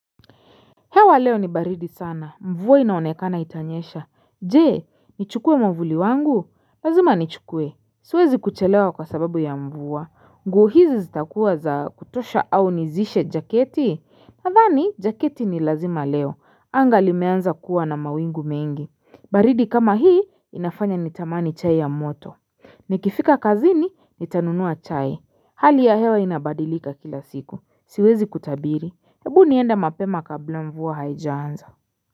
Hewa leo ni baridi sana. Mvua inaonekana itanyesha. Je, nichukue mavuli wangu? Lazima nichukue. Siwezi kuchelewa kwa sababu ya mvua. Nguo hizi zitakuwa za kutosha au nizishe jaketi? Nathani, jaketi ni lazima leo. Anga limeanza kuwa na mawingu mengi. Baridi kama hii, inafanya nitamani chai ya moto. Nikifika kazini, nitanunua chai. Hali ya hewa inabadilika kila siku. Siwezi kutabiri. Hebu nienda mapema kabla mvua haijaanza.